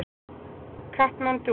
Katmandú